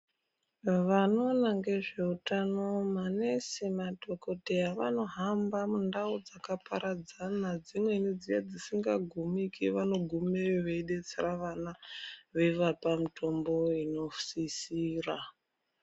Vanona ngezvehutano manesi , madhokoteya vanohamba mundawo dzakaparadzana dzimweni dzedzisingagumiki vanogumire veyibetsera vana vevapa mitombo inosisira.